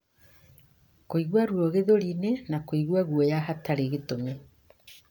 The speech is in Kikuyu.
kũigua ruo gĩthũri-inĩ, na kũigua guoya hatarĩ gĩtũmi.